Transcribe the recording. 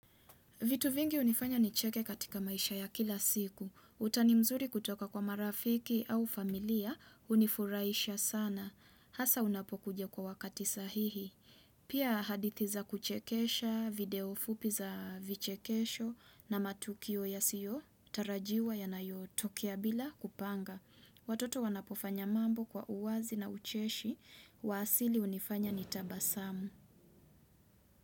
Vitu vingi unifanya ni cheke katika maisha ya kila siku. Utani mzuri kutoka kwa marafiki au familia unifuraisha sana. Hasa unapokuja kwa wakati sahihi. Pia hadithi za kuchekesha, video fupi za vichekesho na matukio yasio tarajiwa yanayotokea bila kupanga. Watoto wanapofanya mambo kwa uwazi na ucheshi wa asili unifanya ni tabasamu.